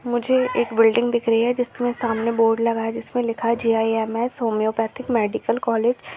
मुझे एक बिल्डिंग दिख रही हैं जिसमे सामने बोर्ड लगा हुआ हैं जिसमे लिखा हैं G I M S homoeopathic medical college --